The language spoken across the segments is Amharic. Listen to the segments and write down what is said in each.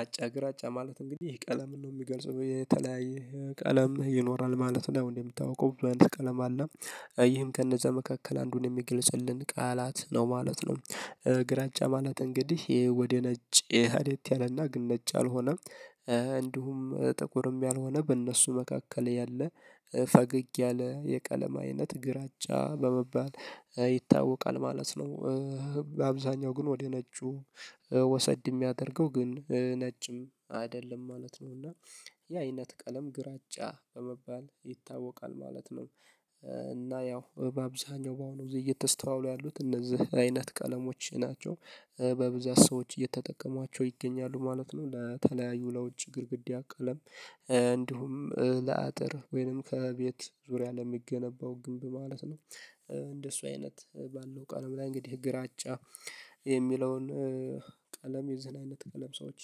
አጫ ግራጫ ማለት እንግዲህ ይህ ቀለምን ነው የሚገልጸው የተለያየ ቀለም ይኖራል ማለት ነው እን ሚታወቀው ብዙ አይነት ቀለም አለ ይህም ከነዛ መካከል አንዱን የሚገልጽልን ቃላት ነው ማለት ነው። ግራጫ ማለት እንግዲህ ወደ ነጭ ሄዴት ያለና ግን ነጭ ያልሆነ እንዲሁም ጥቁርም ያልሆነ በእነሱ መካከል ያለ ፈገግ ያለ የቀለማ አይነት ግራጫ በመባል ይታወቃል ማለት ነው። አብዛኛው ግን ወደ ነጩ ወሰድ የሚያደርገው ግን ነጭም አይደለም ማለት ነው እና ያ አይነት ቀለም ግራጫ በመባል ይታወቃል ማለት ነው። እና ያው በአብዛኛው በአሁኑ ጊዜ አሁን እየተስተዋሉ ያሉት እነዚህ አይነት ቀለሞች ናቸው በብዛት ሰዎች እየተጠቀሟቸው ይገኛሉ ማለት ነው ለተለያዩ ለውጭ ግድግዳ ቀለም እንዲሁም ለአጥር ወይንም ከቤት ዙሪያ ለሚገነባው ግንብ ማለት ነው። እንደሱ አይነት ባለው ቀለም ላይ እንግዲህ ግራጫ የሚለውን ቀለም የዚህን አይነት ቀለም ሰዎች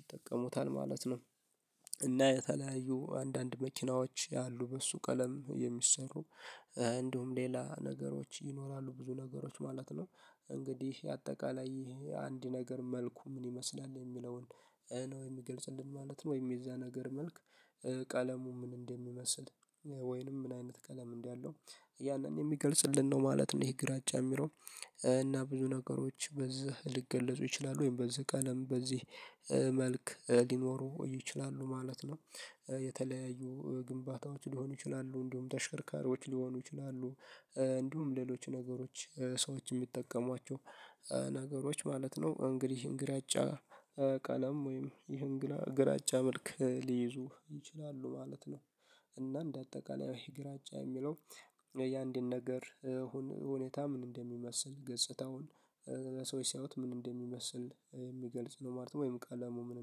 ይጠቀሙታል ማለት ነው። እና የተለያዩ አንዳንድ መኪናዎች ያሉ በእሱ ቀለም የሚሰሩ እንደውም ሌላ ነገሮች ይኖራሉ ብዙ ነገሮች ማለት ነው። እንግዲህ አጠቃላይ አንድ ነገር መልኩ ምን ይመስላል የሚለውን ነው የሚገልጽልን ማለት ነው ወይም የዚያ ነገር መልክ ቀለሙ ምን እንደሚመስል ወይንም ምን አይነት ቀለም እንዳ ለው ያንን የሚገልጽልን ነው ማለት ነው። ይሄ ግራጫ የሚለው እና ብዙ ነገሮች በዚህ ሊገለጹ ይችላሉ ወይም በዚህ ቀለም በዚህ መልክ ሊኖሩ ይችላሉ ማለት ነው። የተለያዩ ግንባታዎች ሊሆኑ ይችላሉ እንዲሁም ተሸርካሪዎች ሊሆኑ ይችላሉ እንዲሁም ሌሎች ነገሮች ሰዎች የሚጠቀሟቸው ነገሮች ማለት ነው እንግዲህ ይሄን ግራጫ ቀለም ወይም ይሄን ግራጫ መልክ ሊይዙ ይችላሉ ማለት ነው። እና እንደ አጠቃላይ ይሄ ግራጫ የሚለው የአንድን ነገር ሁን ሁኔታ ምን እንደሚመስል ገጽታውን ለሰዎች ሲያዪት ምን እንደሚመስል የሚገልጽ ነው ማለት ነው ወይም ቀለሙ ምን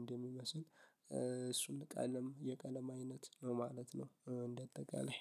እንደሚመስል እሱን ቀለም የቀለም አይነት ነው ማለት ነው። እንደ አጠቃላይ